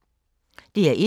DR1